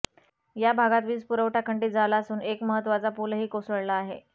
या भागातील वीजपुरवठा खंडीत झाला असून एक महत्वाचा पूलही कोसळला आहे